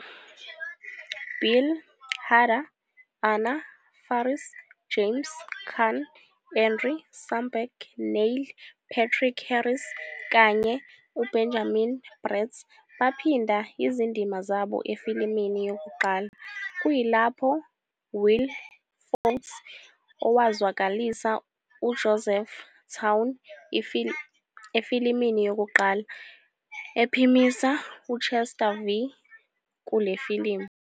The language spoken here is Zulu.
Bill Hader, Anna Faris, James Caan, Andy Samberg, Neil Patrick Harris, kanye uBenjamin Bratt baphinda izindima zabo efilimini yokuqala, kuyilapho Will Forte, owazwakalisa uJoseph Towne efilimini yokuqala, ephimisa uChester V kule filimu.